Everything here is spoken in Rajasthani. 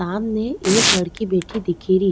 सामने एक लड़की बैठी दिखेरी।